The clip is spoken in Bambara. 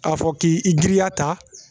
A fɔ k'i giriya ta